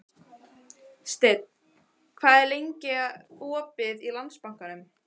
Steinn, hvað er lengi opið í Landsbankanum?